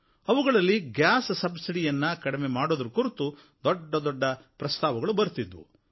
ಇವುಗಳಲ್ಲಿ ಅಡುಗೆ ಅನಿಲದ ಸಬ್ಸಿಡಿಯನ್ನು ಕಡಿಮೆ ಮಾಡೋದರ ಕುರಿತು ದೊಡ್ಡದೊಡ್ಡ ಪ್ರಸ್ತಾವಗಳು ಬರುತ್ತಿದ್ವು